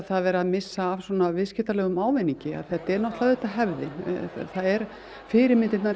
það er verið að missa af viðskiptalegum ávinningi þetta er auðvitað hefðin fyrirmyndirnar